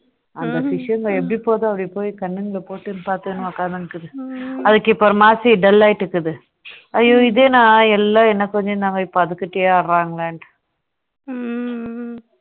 அந்த fish ங்க எப்படி போகுது அப்படி போய் கண்ணாடில பார்த்துட்டு உட்கார்ந்து இருக்கும் அதற்கு இப்போ ஒரு மாதிரி இருக்க dull லாயிட்டு இருக்குது ஐயோ இது என்ன எல்லாம் என்ன கொஞ்சிக்கிட்டு இருந்தாங்க இப்போ அது கிட்ட ஆடுறாங்களே அப்படின்னு